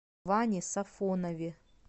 ване сафонове